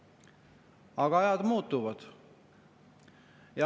Aga ajad muutuvad.